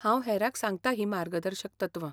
हांव हेरांक सांगतां ही मार्गदर्शक तत्वां.